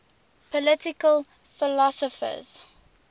political philosophers